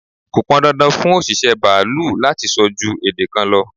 Kọ pọn dandan fún òṣìṣẹ́ baalú láti so ju èdè kan lọ.